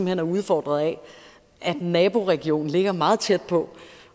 hen er udfordret af at naboregionen ligger meget tæt på